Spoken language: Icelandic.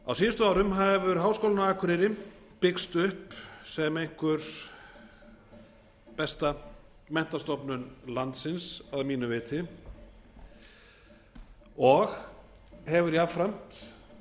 á síðustu árum hefur háskólinn á akureyri byggst upp sem einhver besta menntastofnun landsins að mínu viti og hefur jafnframt